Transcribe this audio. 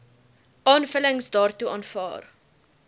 aanvullings daartoe aanvaar